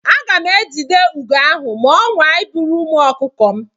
Aga m ejide ugo ahụ ma ọ nwaa iburu ụmụ ọkụkọ m.